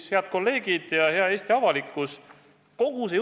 Head kolleegid ja hea Eesti avalikkus!